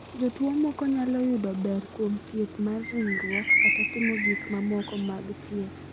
Jotuwo moko nyalo yudo ber kuom thieth mar ringruok kata timo gik mamoko mag thieth.